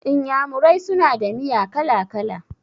Iyamurai suna da miya kala-kala.